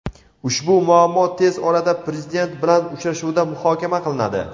ushbu muammo tez orada Prezident bilan uchrashuvda muhokama qilinadi.